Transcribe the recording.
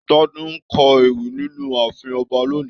Tade ńkọ ewì nínú ààfin ọba lóni.